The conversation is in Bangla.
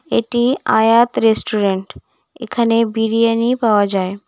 এটি আয়াত রেস্টুরেন্ট এখানে বিরিয়ানি পাওয়া যায়।